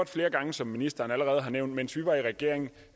flere gange som ministeren allerede har nævnt mens vi var i regering